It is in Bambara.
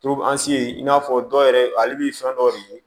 i n'a fɔ dɔw yɛrɛ ale bɛ fɛn dɔ de ye